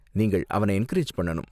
நீங்கள் அவன என்கரேஜ் பண்ணனும்.